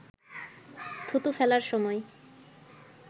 থুতু ফেলার সময়